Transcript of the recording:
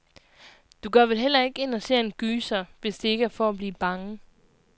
Du går vel heller ikke ind og ser en gyser, hvis det ikke er for at blive bange?